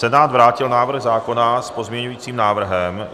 Senát vrátil návrh zákona s pozměňujícím návrhem.